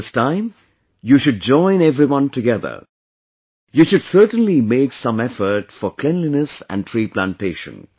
This time, you should join everyone together you should certainly make some effort for cleanliness and tree plantation